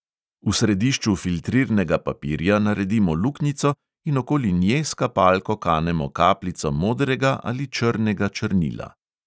V središču filtrirnega papirja naredimo luknjico in okoli nje s kapalko kanemo kapljico modrega ali črnega črnila.